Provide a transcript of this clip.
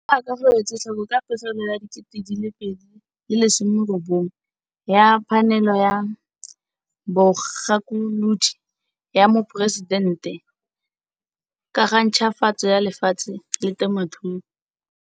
Jaaka go etswetlhoko ka pegelo ya 2019 ya Phanele ya Bogakolodi ya Moporesidente ka ga Ntšhwafatso ya Lefatshe le Temothuo,